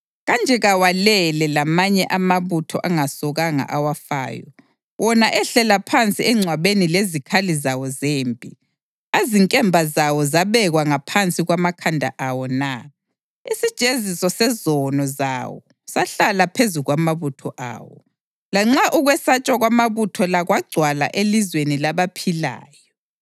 Kanje kawalele lamanye amabutho angasokanga awafayo, wona ehlela phansi engcwabeni lezikhali zawo zempi, azinkemba zawo zabekwa ngaphansi kwamakhanda awo na? Isijeziso sezono zawo sahlala phezu kwamathambo awo, lanxa ukwesatshwa kwamabutho la kwagcwala elizweni labaphilayo.